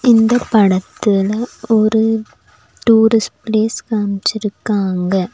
இந்தப் படத்துல ஒரு டூரிஸ்ட் பிளேஸ் காமிச்சிருக்காங்க.